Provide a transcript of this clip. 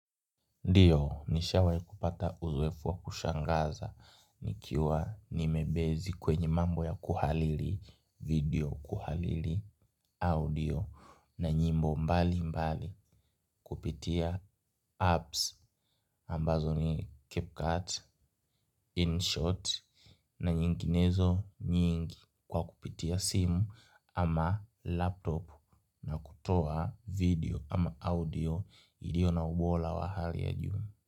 Ndiyo, nishawahi kupata uzoefu wa kushangaza nikiwa nimebezi kwenye mambo ya kuhariri video, kuhariri audio na nyimbo mbalimbali kupitia apps ambazo ni CapCut, InShot na nyinginezo nyingi kwa kupitia simu ama laptop na kutoa video ama audio ilio na ubora wa hali ya juu.